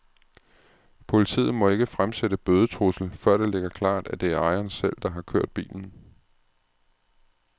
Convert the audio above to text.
Politiet må ikke fremsætte bødetrussel, før det ligger klart, at det er ejeren selv, der har kørt bilen.